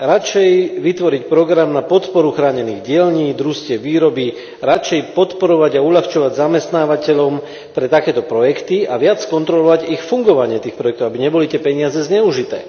Radšej vytvoriť program na podporu chránených dielní, družstiev výroby, radšej podporovať a uľahčovať zamestnávateľom pre takéto projekty a viac kontrolovať fungovanie tých projektov, aby neboli tie peniaze zneužité.